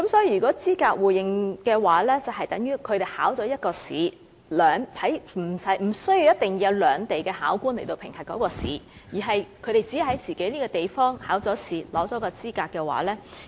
如果是資格互認的話，他們在自己地方通過一次考試，不一定要由兩地考官進行評核，便可取得資格，便可以在兩地得到互認。